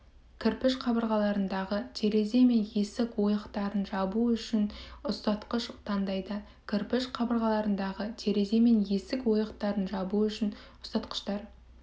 кірпіш қабырғаларындағы терезе мен есік ойықтарын жабу үшін ұстатқыштар таңдайды кірпіш қабырғаларындағы терезе мен есік ойықтарын жабу үшін ұстатқыштар